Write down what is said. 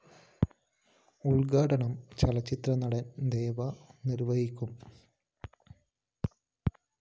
ഉദ്ഘാടനം ചലച്ചിത്രനടന്‍ ദേവന്‍ നിര്‍വഹിക്കും